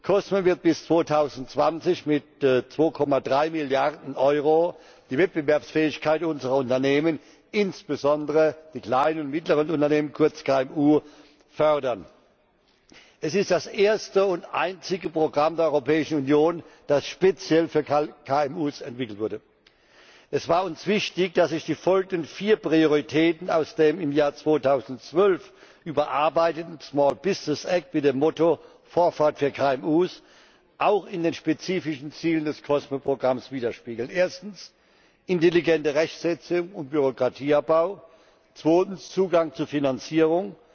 COSME wird bis 2020 mit 2,3 Milliarden Euro die Wettbewerbsfähigkeit unserer Unternehmen, fördern insbesondere der kleinen und mittleren Unternehmen, kurz KMU. Es ist das erste und einzige Programm der Europäischen Union, das speziell für KMU entwickelt wurde. Es war uns wichtig, dass sich die folgenden vier Prioritäten aus dem im Jahr 2011 überarbeiteten Small Business Act mit dem Motto Vorfahrt für KMU auch in den spezifischen Zielen des COSME Programms wiederspiegeln erstens, intelligente Rechtssetzung und Bürokratieabbau, zweitens, Zugang zu Finanzierung,